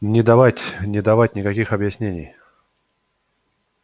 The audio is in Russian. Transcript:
не давать не давать никаких объяснений